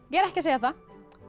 ég er ekki að segja það